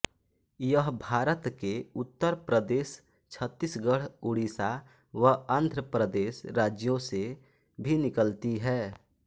यह भारत के उत्तर प्रदेश छत्तीसगढ़ उड़ीसा व आंध्र प्रदेश राज्यों से भी निकलती है